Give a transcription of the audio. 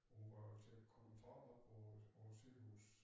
Hun var jo til kontrol op på øh på æ sygehus